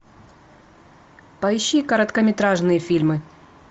поищи короткометражные фильмы